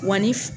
Wa ni